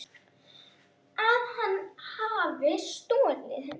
Að hann hafi stolið henni?